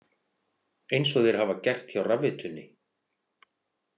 Eins og þeir hafa gert hjá Rafveitunni